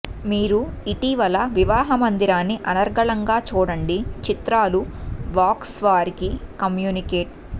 మీరు ఇటీవల వివాహ మందిరాన్ని అనర్గళంగా చూడండి చిత్రాలు వాక్స్ వారికి కమ్యూనికేట్